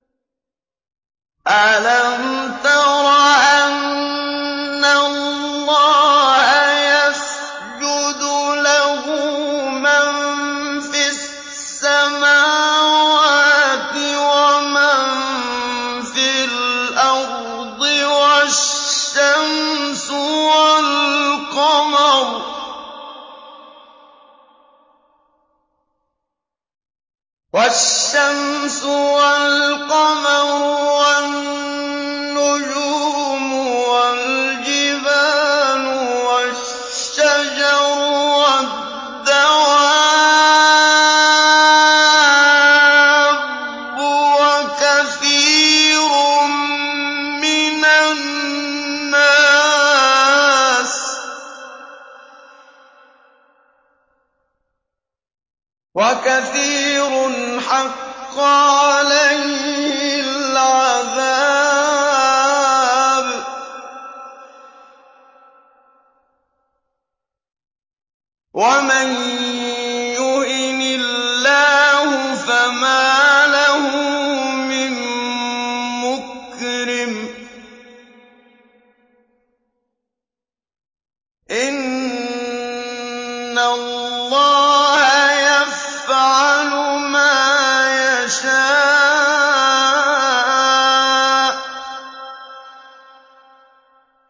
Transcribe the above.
أَلَمْ تَرَ أَنَّ اللَّهَ يَسْجُدُ لَهُ مَن فِي السَّمَاوَاتِ وَمَن فِي الْأَرْضِ وَالشَّمْسُ وَالْقَمَرُ وَالنُّجُومُ وَالْجِبَالُ وَالشَّجَرُ وَالدَّوَابُّ وَكَثِيرٌ مِّنَ النَّاسِ ۖ وَكَثِيرٌ حَقَّ عَلَيْهِ الْعَذَابُ ۗ وَمَن يُهِنِ اللَّهُ فَمَا لَهُ مِن مُّكْرِمٍ ۚ إِنَّ اللَّهَ يَفْعَلُ مَا يَشَاءُ ۩